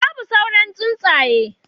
Babu sauran tsuntsaye